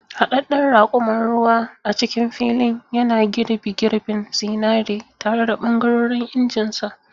Haɗaɗɗen raƙuman ruwa a cikin filin, yana girbi girbin zinare tare da ɓangarorin injinsa.